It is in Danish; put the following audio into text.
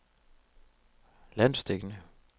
landsdækkende